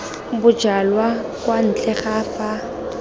bojalwa kwa ntle ga fa